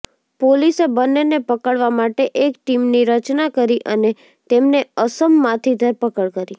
પોલીસે બંનેને પકડવા માટે એક ટીમની રચના કરી અને તેમને અસમમાંથી ધરપકડ કરી